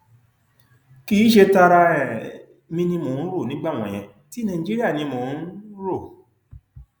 kì í ṣe tara um mi ni mò ń rò nígbà wọnyẹn ti nàìjíríà ni mò ń um rò